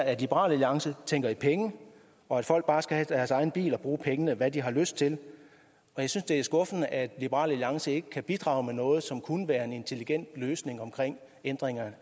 at liberal alliance tænker i penge og at folk bare skal have deres egen bil og bruge pengene til hvad de har lyst til og jeg synes det er skuffende at liberal alliance ikke kan bidrage med noget som kunne være en intelligent løsning omkring ændringer